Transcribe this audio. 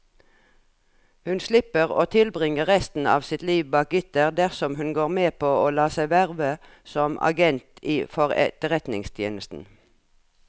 Hun slipper å tilbringe resten av sitt liv bak gitter dersom hun går med på å la seg verve som agent for etterretningstjenesten.